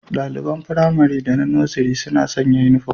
Daliban Firamare da na Nursery suna sanya uniform